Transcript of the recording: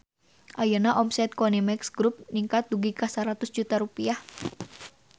Ayeuna omset Konimex Grup ningkat dugi ka 100 juta rupiah